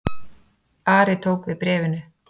Ari tók við bréfinu.